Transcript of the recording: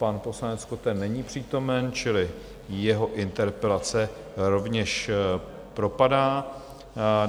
Pan poslanec Koten není přítomen, čili jeho interpelace rovněž propadá.